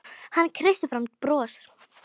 Hann kreisti fram bros.